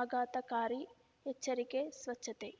ಆಘಾತಕಾರಿ ಎಚ್ಚರಿಕೆ ಸ್ವಚ್ಛತೆ